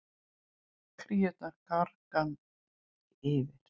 Kríurnar gargandi yfir.